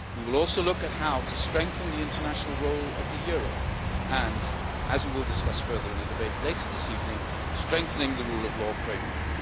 We will also look at how to strengthen the international role of the euro and, as we will discuss further in the debate later this evening, at strengthening the rule of law framework.